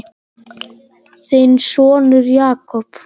Þinn sonur Jakob.